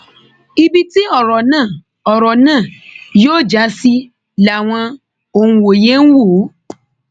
ibi tí ọrọ náà ọrọ náà yóò já sí làwọn òǹwòye ń wò ó